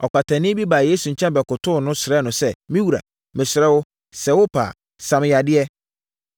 Ɔkwatani bi baa Yesu nkyɛn bɛkotoo no, srɛɛ no sɛ, “Me wura, mesrɛ wo, sɛ ɛyɛ wo pɛ a, sa me yadeɛ.”